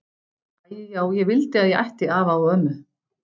Æi já ég vildi að ég ætti afa og ömmu.